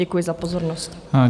Děkuji za pozornost.